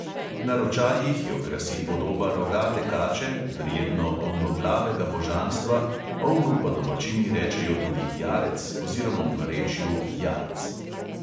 Na ročajih jo krasi podoba rogate kače, verjetno ovnoglavega božanstva, ovnu pa domačini rečejo tudi jarec oziroma v narečju jarc.